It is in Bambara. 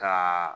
Ka